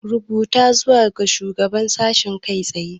Rubuta zuwa ga Shugaban Sashen kai tsaye!